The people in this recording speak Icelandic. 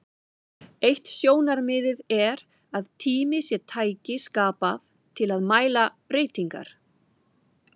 Eitt sjónarmiðið er að tími sé tæki skapað til að mæla breytingar.